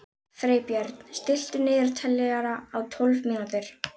Freybjörn, stilltu niðurteljara á tólf mínútur.